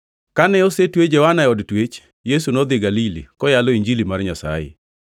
Kane osetwe Johana e od twech, Yesu nodhi Galili, koyalo Injili mar Nyasaye.